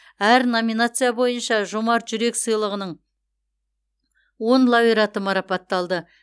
әр номинация бойынша жомарт жүрек сыйлығының он лауреаты марапатталды